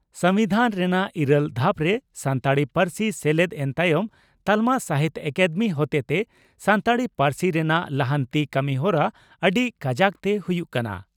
ᱥᱚᱢᱵᱤᱫᱷᱟᱱ ᱨᱮᱱᱟᱜ ᱤᱨᱟᱹᱞ ᱫᱷᱟᱯ ᱨᱮ ᱥᱟᱱᱛᱟᱲᱤ ᱯᱟᱹᱨᱥᱤ ᱥᱮᱞᱮᱫ ᱮᱱ ᱛᱟᱭᱚᱢ ᱛᱟᱞᱢᱟ ᱥᱟᱦᱤᱛᱭᱚ ᱟᱠᱟᱫᱮᱢᱤ ᱦᱚᱛᱮᱛᱮ ᱥᱟᱱᱛᱟᱲᱤ ᱯᱟᱹᱨᱥᱤ ᱨᱮᱱᱟᱜ ᱞᱟᱦᱟᱱᱛᱤ ᱠᱟᱹᱢᱤᱦᱚᱨᱟ ᱟᱹᱰᱤ ᱠᱟᱡᱟᱠ ᱛᱮ ᱦᱩᱭᱩᱜ ᱠᱟᱱᱟ ᱾